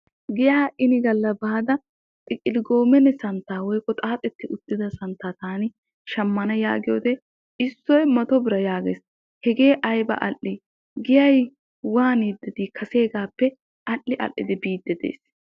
Giya inni gala baada xaaxettidda santta shamanna giyoode issoy xeettu biraa. Giyay kaseegappe keehi al'i al'i biide de'ees.